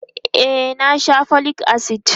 e na Sha folic acid